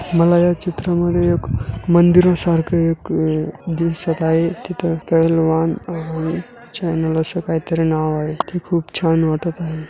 मला या चित्रा मध्ये एक मंदिरा सारखं एक अ दिसत आहे तिथे अस काही तरी नाव आहे ते खूप छान वाटतं आहे.